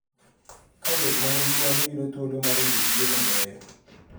Ka jomanigi mwandu yudo thuolo mar yudo tije mabeyo.